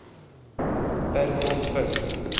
per ton vis